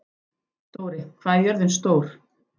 Dóri, hvað er jörðin stór?